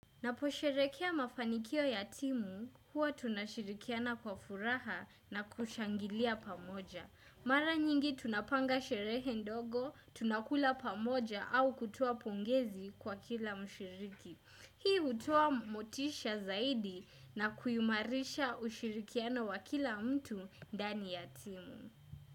Naposherekea mafanikio ya timu huwa tunashirikiana kwa furaha na kushangilia pamoja. Mara nyingi tunapanga sherehe ndogo, tunakula pamoja au kutoa pongezi kwa kila mshiriki. Hii hutoa motisha zaidi na kuimarisha ushirikiano wa kila mtu ndani ya timu.